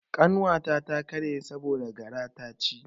Kanta ta ta karye saboda gara ta ci.